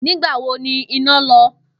Nígbà wo ni iná lo̩?